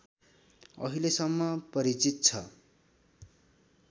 अहिलेसम्म परिचित छ